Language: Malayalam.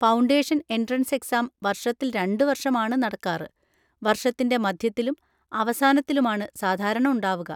ഫൗണ്ടേഷൻ എൻട്രൻസ് എക്സാം വർഷത്തിൽ രണ്ടുവർഷം ആണ് നടക്കാറ്; വർഷത്തിൻ്റെ മധ്യത്തിലും അവസാനത്തിലുമാണ് സാധാരണ ഉണ്ടാവുക.